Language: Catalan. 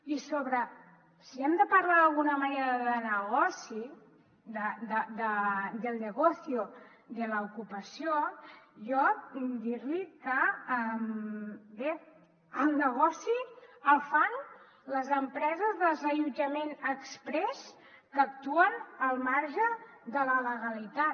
i sobre si hem de parlar d’alguna manera de negoci del negocio de l’ocupació jo puc dir li que bé el negoci el fan les empreses de desallotjament exprés que actuen al marge de la legalitat